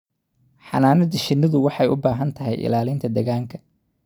Xannaanada shinnidu waxay u baahan tahay ilaalinta deegaanka.